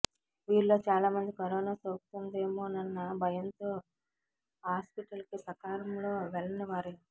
వీరిలో చాలా మంది కరోనా సోకుతుందేమోనన్న భయంతో హాస్పిటల్కి సకాలం లో వెళ్ళని వారే